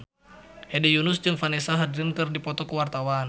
Hedi Yunus jeung Vanessa Hudgens keur dipoto ku wartawan